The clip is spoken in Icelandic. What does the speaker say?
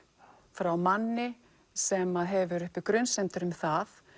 frá manni sem hefur uppi grunsemdir um það